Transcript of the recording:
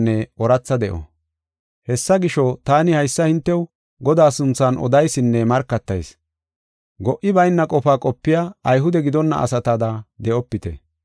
Hessa gisho, taani haysa hintew Godaa sunthan odaysinne markatayis. Go77i bayna qofaa qopiya Ayhude gidonna asatada de7opite.